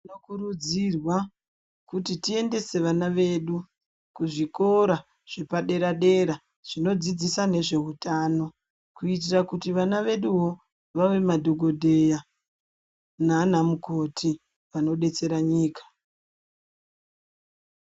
Tinokurudzirwa kiti tiendese vana vedu kuzvikora zvepadera dera zvinodzodzisa nezve utano kuitira kuti vana veduwo vave madhogodheya nanamukoti vanodetsera nyika.